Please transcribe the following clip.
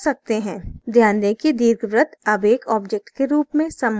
ध्यान दें कि दीर्घवृत्त अब एक object के रूप में समूहित हो गए हैं